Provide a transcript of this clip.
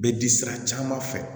Bɛ di sira caman fɛ